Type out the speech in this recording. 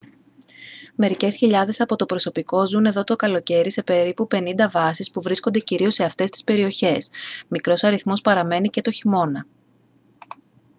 μερικές χιλιάδες από το προσωπικό ζουν εδώ το καλοκαίρι σε περίπου πενήντα βάσεις που βρίσκονται κυρίως σε αυτές τις περιοχές μικρός αριθμός παραμένει και το χειμώνα